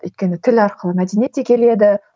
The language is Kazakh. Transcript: өйткені тіл арқылы мәдениет те келеді